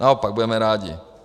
Naopak budeme rádi.